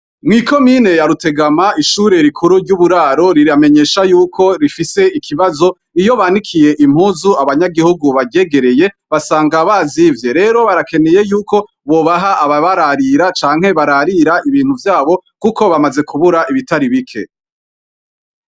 Mw'ikomine ya Rutegama ishure rikuru ry'uburaro riramenyesha yuko rifise ikibazo, iyo banikiye impuzu abanyagihugu baryegereye basanga bazivye, rero barakeneye yuko bobaha ababararira canke bararira ibintu vyabo kuko bamaze kubura ibitari bike.